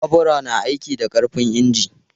Babura na aiki da ƙarfin inji.